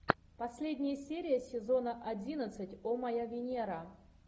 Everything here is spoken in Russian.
последняя серия сезона одиннадцать о моя венера